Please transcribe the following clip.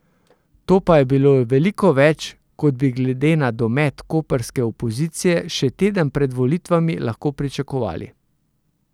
To pa je veliko več, kot bi glede na domet koprske opozicije še teden pred volitvami lahko pričakovali.